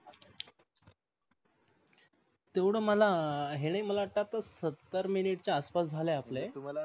तेवढ मला हे नाही मला वाटतआता सत्तर मिनिटाचा अस पास झाले आपले.